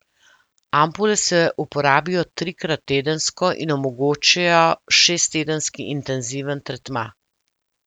Ampule se uporabijo trikrat tedensko in omogočajo šesttedenski intenziven tretma.